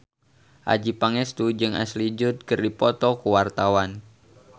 Adjie Pangestu jeung Ashley Judd keur dipoto ku wartawan